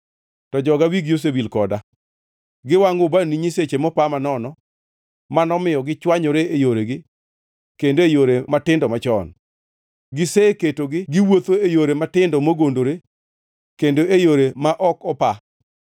To joga wigi osewil koda, giwangʼo ubani ne nyiseche mopa manono, manomiyo gichwanyore e yoregi kendo e yore matindo machon. Giseketogi gi wuotho e yore matindo mogondore, kendo e yore ma ok opa.